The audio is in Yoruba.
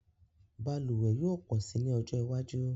Balùwẹ̀ yóò pọ̀ si ní ọjọ́ iwájú